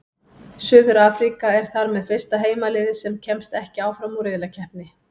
Suður-Afríka er þar með fyrsta heimaliðið sem kemst ekki áfram úr riðlakeppni.